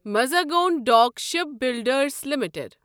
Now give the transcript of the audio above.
Mazagon Dock Shipbuilders limited